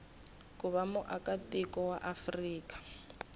ku va muakatiko wa afrika